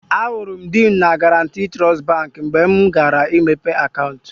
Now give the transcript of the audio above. Ahụrụ m di m na Guarantee Trust Baankị mgbe mụ gara ịmeghe akaụntụ